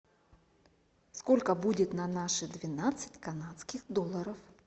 сколько будет на наши двенадцать канадских долларов